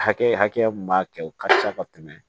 Hakɛya mun b'a kɛ o ka fisa ka tɛmɛ